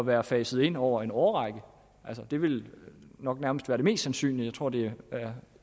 være faset ind over en årrække altså det ville nok nærmest være det mest synlige og jeg tror det er